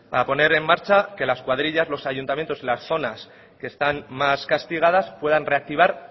para poner en marcha que las cuadrillas los ayuntamientos y las zonas que están más castigadas puedan reactivar